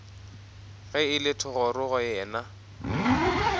ge e le thogorogo yena